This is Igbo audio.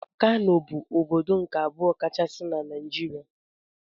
Kano bụ ọbọdọ nke abụọ kachasị n' Naijiria.